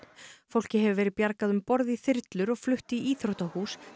fólki hefur verið bjargað um borð í þyrlur og flutt í íþróttahús